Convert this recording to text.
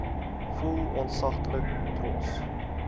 voel ontsaglik trots